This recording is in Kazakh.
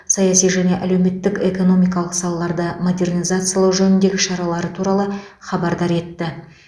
саяси және әлеуметтік экономикалық салаларды модернизациялау жөніндегі шаралары туралы хабардар етті